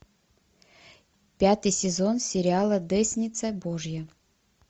пятый сезон сериала десница божья